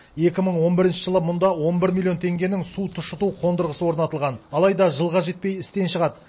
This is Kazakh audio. екі мың он бірінші жылы мұнда он бір миллион теңгенің су тұщыту қондырғысы орнатылған алайда жылға жетпей істен шығады